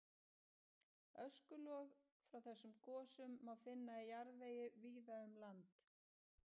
Öskulög frá þessum gosum má finna í jarðvegi víða um land.